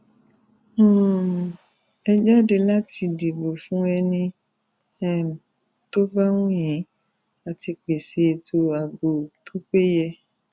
um ẹ jáde láti dìbò fún ẹni um tó bá wù yín á ti pèsè ètò ààbò tó péye